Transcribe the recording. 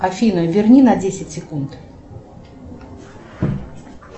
афина верни на десять секунд